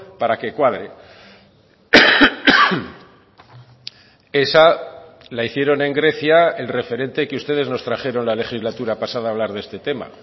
para que cuadre esa la hicieron en grecia el referente que ustedes nos trajeron la legislatura pasada a hablar de este tema